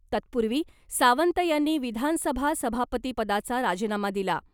तत्पूर्वी सावंत यांनी विधानसभा सभापतीपदाचा राजीनामा दिला .